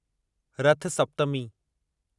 रथ सप्तमी